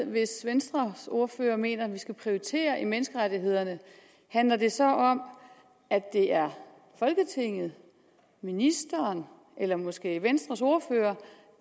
hvis venstres ordfører mener vi skal prioritere i menneskerettighederne handler det så om at det er folketinget ministeren eller måske venstres ordfører